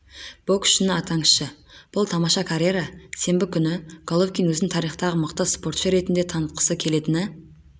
боксшыны атаңызшы бұл тамаша карьера сенбі күні головкин өзін тарихтағы мықты спортшы ретінде танытқысы келетіні